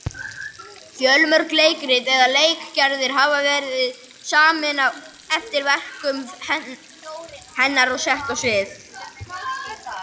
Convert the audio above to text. Fjölmörg leikrit eða leikgerðir hafa verið samin eftir verkum hennar og sett á svið.